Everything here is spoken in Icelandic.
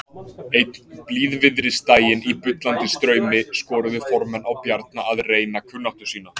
Einn blíðviðrisdaginn í bullandi straumi skoruðu formenn á Bjarna að reyna kunnáttu sína.